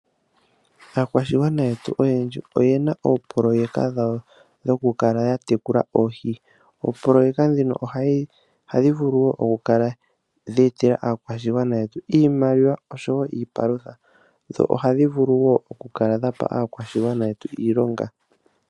Aakwashigwana yetu oyendji oyena oopoloyeka dhawo dhoku kala ya tekula oohi. Oopoloyeka ndhino ohadhi vulu wo ku etela aakwashigwana yetu iimaliwa, oshowo iipalutha, dho ohadhi vulu woo oku kala dhapa aakwashigwana yetu iilonga.